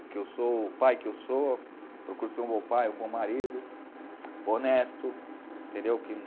O que eu sou, o pai que eu sou, procuro ser um bom pai, um bom marido, honesto, entendeu? que